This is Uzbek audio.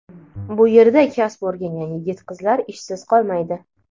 bu yerda kasb o‘rgangan yigit-qizlar ishsiz qolmaydi.